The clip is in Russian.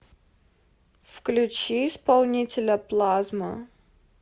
включи исполнителя плазма